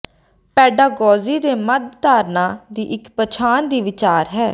pedagogy ਦੇ ਮੱਧ ਧਾਰਨਾ ਦੀ ਇੱਕ ਪਛਾਣ ਦੀ ਵਿਚਾਰ ਹੈ